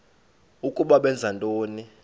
ukuba benza ntoni